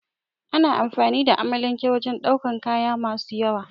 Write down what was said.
Ana amfani da amalanke wajen daukan kaya masu yawa